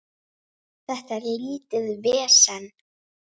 Þetta er lítið vesen.